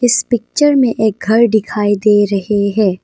इस पिक्चर में एक घर दिखाई दे रही है।